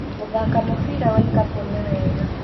Gũthaka mũbira wa ikabu nĩ wega